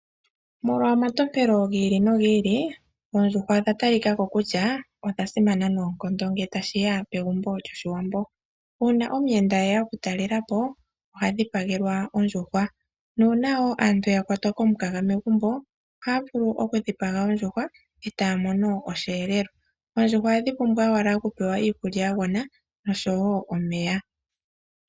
Molwa omatompelo gi ili nogi ili oondjuhwa odha tali kaka ko kutya odha simana noonkondo ngele tashiya megumbo lyoshiwambo uuna omuyenda eya oku talela po ohadhi pagelwa ondjuhwa, nuuna wo aantu ya kwatwa lokukala megumbo ohaya vulu oku dhipagelwa ondjuhwa etaya mono osheelelwa. Oondjuhwa ohadhi pumbwa owala okupewa iikulya ya gwana oshowo omeya.